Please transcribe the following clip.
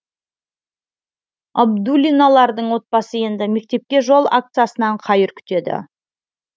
абдуллиналардың отбасы енді мектепке жол акциясынан қайыр күтеді